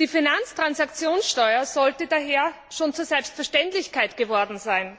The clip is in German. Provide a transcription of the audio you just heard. Die Finanztransaktionssteuer sollte daher schon zur Selbstverständlichkeit geworden sein.